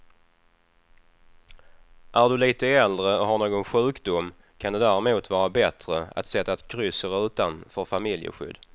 Är du lite äldre och har någon sjukdom kan det därmot vara bättre att sätta ett kryss i rutan för familjeskydd.